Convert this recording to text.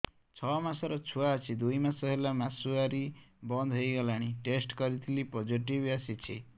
ଛଅ ମାସର ଛୁଆ ଅଛି ଦୁଇ ମାସ ହେଲା ମାସୁଆରି ବନ୍ଦ ହେଇଗଲାଣି ଟେଷ୍ଟ କରିଥିଲି ପୋଜିଟିଭ ଆସିଛି